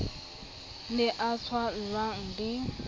o ne a tswallwang le